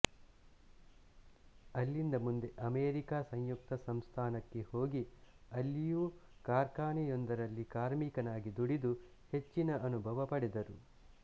ಅಲ್ಲಿಂದ ಮುಂದೆ ಅಮೆರಿಕ ಸಂಯುಕ್ತ ಸಂಸ್ಥಾನಕ್ಕೆ ಹೋಗಿ ಅಲ್ಲಿಯೂ ಕಾರ್ಖಾನೆಯೊಂದರಲ್ಲಿ ಕಾರ್ಮಿಕನಾಗಿ ದುಡಿದು ಹೆಚ್ಚಿನ ಅನುಭವ ಪಡೆದರು